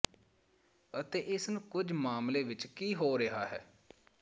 ਅਤੇ ਇਸ ਨੂੰ ਕੁਝ ਮਾਮਲੇ ਵਿੱਚ ਕੀ ਹੋ ਰਿਹਾ ਹੈ